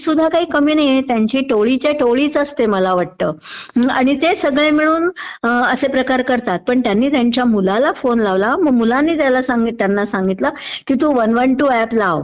सुध्दा काही कमी नाहीये, ही टोळीच्या टोळी असते मला वाटतं. आणि ते सगळं मिळून असे प्रकार करतात. पण त्यंनी त्यांच्या मुलाला फोन लावला आणि मग मुलानी त्यांना सांगितलं की तू वन वन टू ऍप लावं